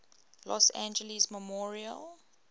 los angeles memorial